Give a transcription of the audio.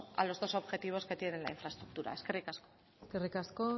a los dos objetivos que tiene la infraestructura eskerrik asko eskerrik asko